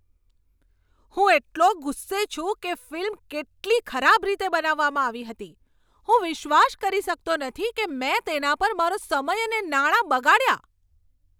હું એટલો ગુસ્સે છું કે ફિલ્મ કેટલી ખરાબ રીતે બનાવવામાં આવી હતી. હું વિશ્વાસ કરી શકતો નથી કે મેં તેના પર મારો સમય અને નાણાં બગાડ્યા.